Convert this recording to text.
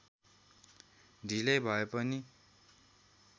ढिलै भए पनि